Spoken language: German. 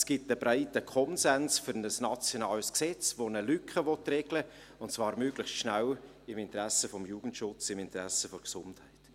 Es gibt einen breiten Konsens für ein nationales Gesetz, welches eine Lücke regeln will, und zwar möglichst schnell, im Interesse des Jugendschutzes, im Interesse der Gesundheit.